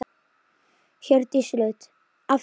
Hjördís Rut: Af hverju?